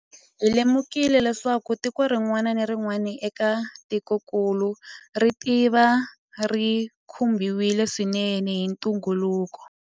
Hi lemukile leswaku tiko rin'wana na rin'wana eka tikokulu ritava ri khumbiwile swinene hi ntungukulu.